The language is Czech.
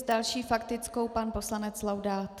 S další faktickou pan poslanec Laudát.